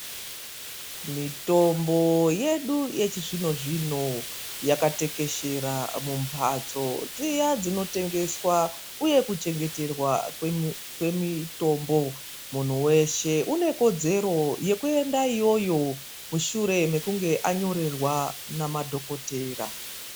Mitombo yedu yechizvino-zvino, yakatekeshera mumbatso dziya dzinotengeswa uye kuchengeterwa kwemitombo. Munhu weshe unekodzero yekuenda iyoyo, mushure mekunge anyorerwa namadhokodhora.